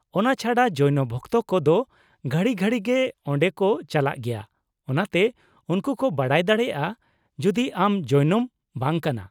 -ᱚᱱᱟ ᱪᱷᱟᱰᱟ , ᱡᱳᱭᱱᱚ ᱵᱷᱚᱠᱛᱚ ᱠᱚ ᱫᱚ ᱜᱷᱟᱹᱲᱤ ᱜᱷᱟᱹᱲᱤᱜᱮ ᱚᱸᱰᱮ ᱠᱚ ᱪᱟᱞᱟᱜ ᱜᱮᱭᱟ, ᱚᱱᱟᱛᱮ ᱩᱱᱠᱩ ᱠᱚ ᱵᱟᱰᱟᱭ ᱫᱟᱲᱮᱭᱟᱜᱼᱟ ᱡᱩᱫᱤ ᱟᱢ ᱡᱳᱭᱱᱚᱢ ᱵᱟᱝ ᱠᱟᱱᱟ ᱾